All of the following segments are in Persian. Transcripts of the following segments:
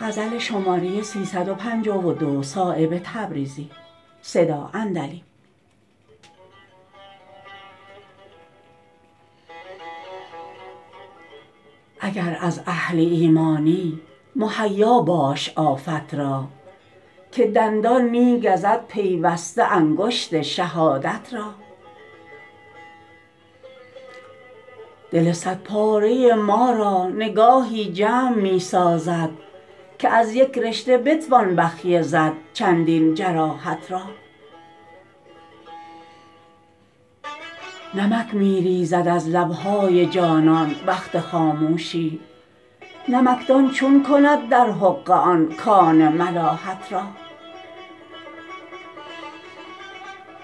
اگر از اهل ایمانی مهیا باش آفت را که دندان می گزد پیوسته انگشت شهادت را دل صد پاره ما را نگاهی جمع می سازد که از یک رشته بتوان بخیه زد چندین جراحت را نمک می ریزد از لبهای جانان وقت خاموشی نمکدان چون کند در حقه آن کان ملاحت را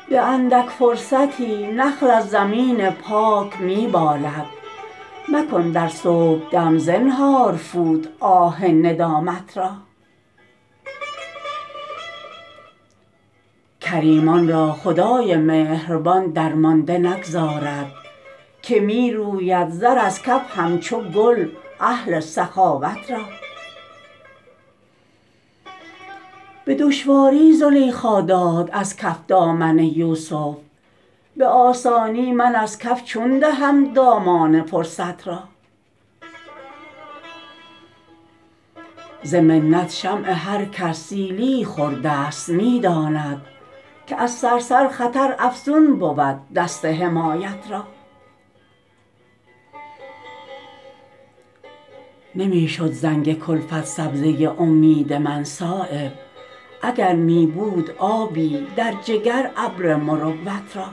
به اندک فرصتی نخل از زمین پاک می بالد مکن در صبحدم زنهار فوت آه ندامت را کریمان را خدای مهربان درمانده نگذارد که می روید زر از کف همچو گل اهل سخاوت را به دشواری زلیخا داد از کف دامن یوسف به آسانی من از کف چون دهم دامان فرصت را ز منت شمع هر کس سیلیی خورده است می داند که از صرصر خطر افزون بود دست حمایت را نمی شد زنگ کلفت سبزه امید من صایب اگر می بود آبی در جگر ابر مروت را